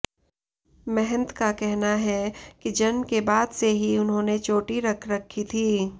महंत का कहना है कि जन्म के बाद से ही उन्होंने चोटी रख रखी थी